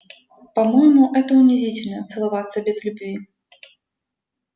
по моему это унизительно целоваться без любви